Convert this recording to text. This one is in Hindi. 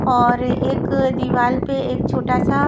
और एक दीवाल पे एक छोटा सा --